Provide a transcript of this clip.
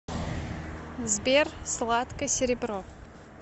сбер сладко серебро